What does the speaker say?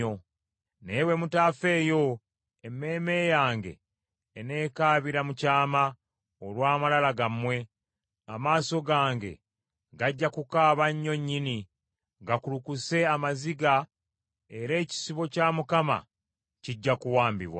Naye bwe mutaafeeyo, emmeeme yange eneekaabira mu kyama olw’amalala gammwe; amaaso gange gajja kukaaba nnyo nnyini gakulukuse amaziga era ekisibo kya Mukama kijja kuwambibwa.